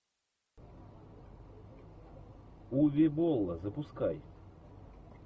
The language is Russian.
уве болла запускай